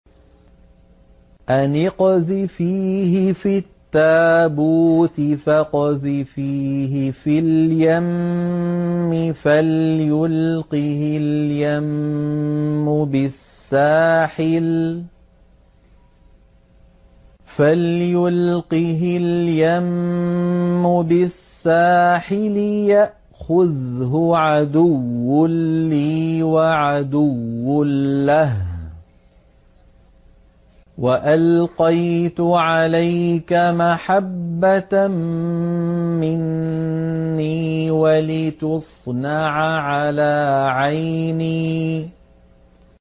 أَنِ اقْذِفِيهِ فِي التَّابُوتِ فَاقْذِفِيهِ فِي الْيَمِّ فَلْيُلْقِهِ الْيَمُّ بِالسَّاحِلِ يَأْخُذْهُ عَدُوٌّ لِّي وَعَدُوٌّ لَّهُ ۚ وَأَلْقَيْتُ عَلَيْكَ مَحَبَّةً مِّنِّي وَلِتُصْنَعَ عَلَىٰ عَيْنِي